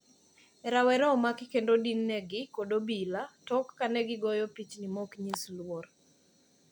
rawere omaki kendo odin negi kod obila tok kanegigoyo pichni maoknyis luor.